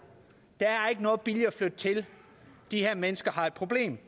der er ikke noget billigere at flytte til de her mennesker har et problem